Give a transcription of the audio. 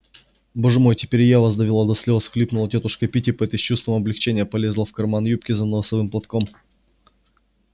боже мой теперь я и вас довела до слез всхлипнула тётушка питтипэт и с чувством облегчения полезла в карман юбки за носовым платком